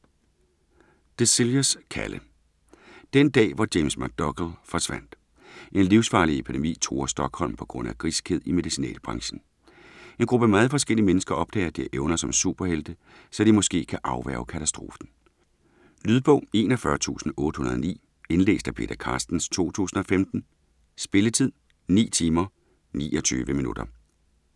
Dixelius, Kalle: Den dag, hvor James McDougal forsvandt En livsfarlig epidemi truer Stockholm på grund af griskhed i medicinalbranchen. En gruppe meget forskellige mennesker opdager, at de har evner som superhelte, så de måske kan afværge katastrofen. Lydbog 41809 Indlæst af Peter Carstens, 2015. Spilletid: 9 timer, 29 minutter.